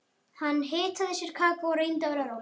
Hann hitaði sér kakó og reyndi að vera rólegur.